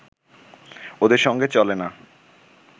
ওদের সঙ্গে চলে না